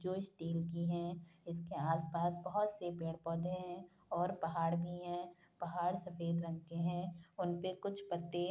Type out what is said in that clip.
जो स्टील की है । इसके आस पास बहुत पेड़ पौधे है और पहाड़ भी है पहाड़ सफेद रंग के है उनपे कुछ पत्ते --